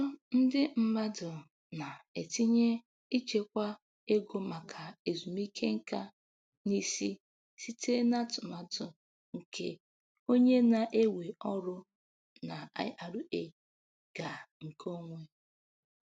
Ọtụtụ ndị mmadụ na-etinye ichekwa ego maka ezumike nka n'isi site n'atụmatụ nke onye na-ewe ọrụ na IRA ga nke onwe.